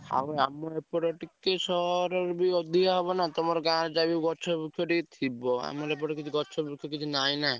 ଆଉ ଆମର ଆଡେ ଟିକେ ସହର ଠାରୁ ଅଧିକ ହବ ନାଁ ଯାହା ହେଲେ ଗାଁରେ ଗଛ ବ୍ରୁଚ ଥିବ ଆମର ଏପଟେ ଗଛ ବର୍ଚ କିଛି ନାହିଁ ନାଁ?